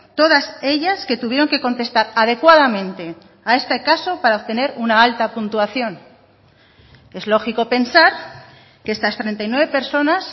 todas ellas que tuvieron que contestar adecuadamente a este caso para obtener una alta puntuación es lógico pensar que estas treinta y nueve personas